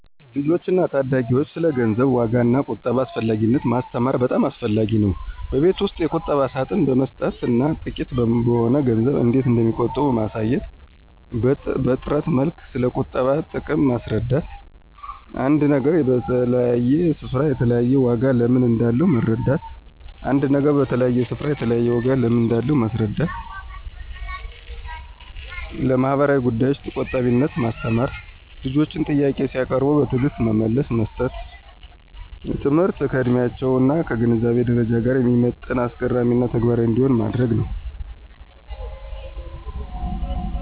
ልጆችን እና ታዳጊዎችን ስለ ገንዘብ ዋጋ እና ቁጠባ አስፈላጊነት ማስተማር በጣም አስፈላጊ ነው። በቤት ውስጥ የቁጠባ ሳጥን በመስጠት እና ጥቂት በሆነ ገንዘብ እንዴት እንደሚቆጥቡ ማሳየት። በትረት መልክ ስለቁጠባ ጥቅም ማስረዳት። አንድ ነገር በተለያየ ስፍራ የተለያየ ዋጋ ለምን እንዳለው መረዳት ·አንድ ነገር በተለያየ ስፍራ የተለያየ ዋጋ ለምን እንዳለው ማስረዳት። ለማህበራዊ ጉዳዮች ቆጣቢነትን ማስተማር። ልጆች ጥያቄ ሲያቀርቡ በትዕግስት መልስ መስጠት። ትምህርቱ ከዕድሜያቸው እና ከግንዛቤ ደረጃቸው ጋር የሚመጥን፣ አስገራሚ እና ተግባራዊ እንዲሆን ማድረግ ነው።